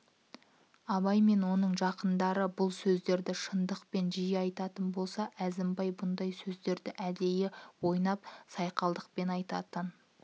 абай мен оның жақындары бұл сөздерді шындықпен жиі айтатын болса әзімбай бұндай сөздерді әдейі ойнап сайқалданып айтатын